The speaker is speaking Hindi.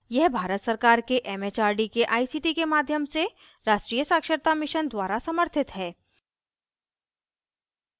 यह भारत सरकार के it it आर डी के आई सी टी के माध्यम से राष्ट्रीय साक्षरता mission द्वारा समर्थित है